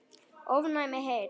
ofnæm heyrn